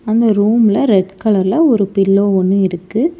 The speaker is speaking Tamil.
அந்த ரூம்ல ரெட் கலர்ல ஒரு பில்லோ ஒன்னு இருக்கு.